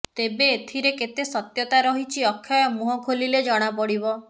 ତେବେ ଏଥିରେ କେତେ ସତ୍ୟତା ରହିଛି ଅକ୍ଷୟ ମୁହଁ ଖୋଲିଲେ ଜଣାପଡିବ